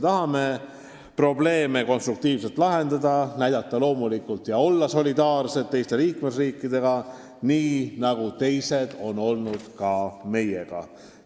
Tahame probleeme konstruktiivselt lahendada ja loomulikult olla solidaarsed teiste liikmesriikidega, nii nagu teised on olnud ka meiega.